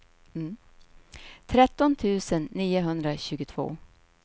tretton tusen niohundratjugotvå